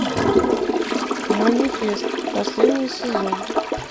манифест последний сезон